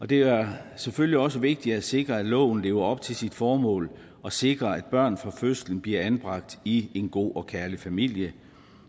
det er selvfølgelig også vigtigt at sikre at loven lever op til sit formål at sikre at børn fra fødslen bliver anbragt i en god og kærlig familie